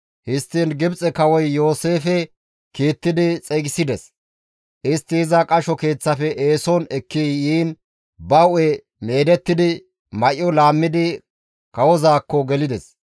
Histtiin Gibxe kawoy Yooseefe kiittidi xeygisides. Istti iza qasho keeththafe eeson ekki yiin ba hu7e meedettidi may7o laammidi kawozaakko gelides.